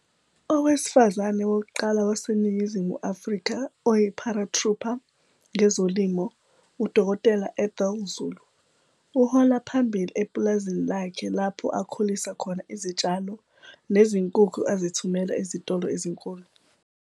Owesifazane wokuqala waseNingizimu Afrika oyi-paratrooper ngezolimo UDkt Ethel Zulu uhola phambili epulazini lakhe lapho akhulisa khona izitshalo nezinkukhu azithumela ezitolo ezinkulu.